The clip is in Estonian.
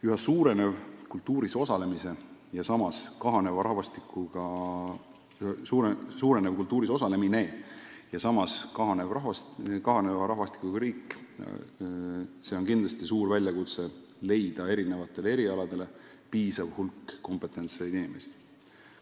Üha kasvav kultuuris osalemine ja samas kahaneva rahvastikuga riik – see esitab meile kindlasti suure väljakutse, sest kõigile erialadele tuleb leida piisav hulk kompetentseid inimesi.